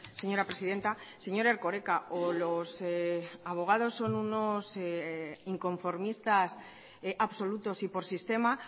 señora presidenta señor erkoreka o los abogados son unos inconformistas absolutos y por sistema